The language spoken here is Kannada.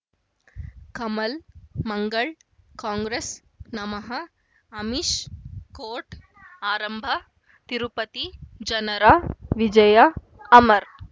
ಕಮಲ್ ಮಂಗಳ್ ಕಾಂಗ್ರೆಸ್ ನಮಃ ಅಮಿಷ್ ಕೋರ್ಟ್ ಆರಂಭ ತಿರುಪತಿ ಜನರ ವಿಜಯ ಅಮರ್